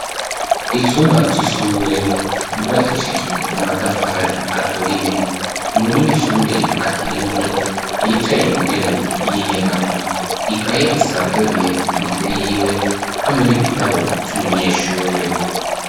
Icumba c'ishure ryubakishijwe amatafari aturiye umunyeshure akiri muto yicaye mu ntebe y'inyegamo ikaye isanzuruye imbere yiwe hamwe n'igitabu c'umunyeshure.